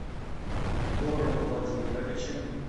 гором владимировичем